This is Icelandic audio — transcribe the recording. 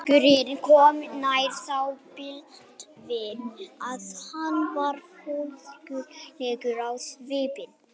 Þegar drengurinn kom nær sá Baldvin að hann var fólskulegur á svipinn.